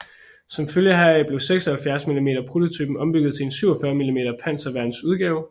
Som følge heraf blev 76 mm prototypen ombygget til en 47 mm panserværns udgave